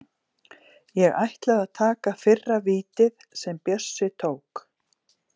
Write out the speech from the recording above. Ég ætlaði að taka fyrra vítið sem Bjössi tók.